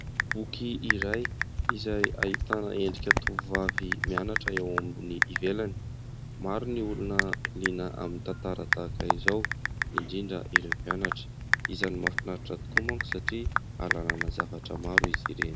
Boky iray izay ahitana endrika tovovavy mianatra eo ambony ivelany, maro ny olona liana amin'ny tantara tahak'izao indrindra ireo mpianatra, isany mahafinaritra tokoa manko satria ahalalana zavatra maro izy ireny.